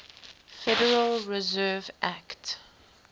federal reserve act